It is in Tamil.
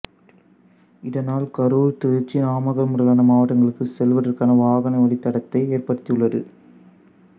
இதனால் கரூர் திருச்சி நாமக்கல் முதலான மாவட்டங்களுக்குச் செல்வதற்கான வாகன வழித்தடத்தை ஏற்படுத்தியுள்ளது